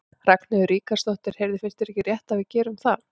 Ragnheiður Ríkharðsdóttir: Heyrðu, finnst þér ekki rétt að við gerum það?